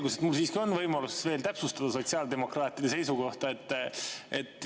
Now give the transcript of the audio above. Selgus, et mul siiski on võimalus veel täpsustada sotsiaaldemokraatide seisukohta.